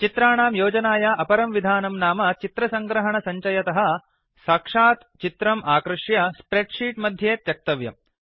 चित्राणां योजानाय अपरं विधानं नाम चित्रसङ्ग्रहणसञ्चयतः साक्षात् चित्रम् आकृष्यड्र्याग् स्प्रेड् शीट् मध्ये त्यक्तव्यम्